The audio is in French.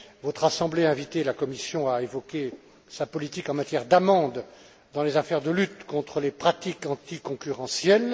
Votre assemblée a invité la Commission à évoquer sa politique en matière d'amende dans les affaires de lutte contre les pratiques anticoncurrentielles.